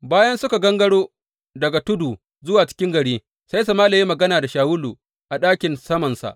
Bayan suka gangaro daga tudu zuwa cikin gari, Sai Sama’ila ya yi magana da Shawulu a ɗakin samansa.